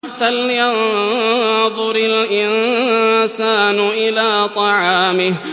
فَلْيَنظُرِ الْإِنسَانُ إِلَىٰ طَعَامِهِ